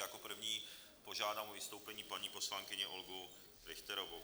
Jako první požádám o vystoupení paní poslankyni Olgu Richterovou.